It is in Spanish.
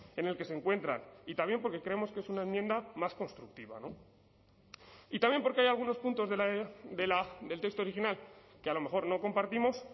en el que se encuentran y también porque creemos que es una enmienda más constructiva y también porque hay algunos puntos del texto original que a lo mejor no compartimos